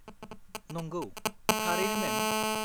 नंगौ, थारैनो, मेम।